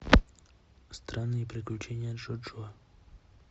странные приключения джоджо